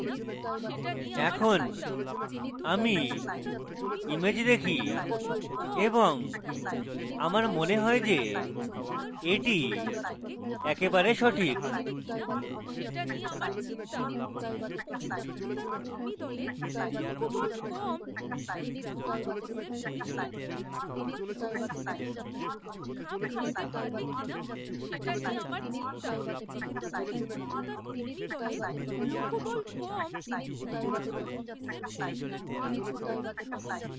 আমি image দেখি এবং আমার মনে হয় যে এটি একবারে সঠিক